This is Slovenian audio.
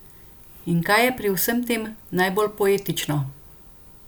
In kaj je pri vsem tem najbolj poetično?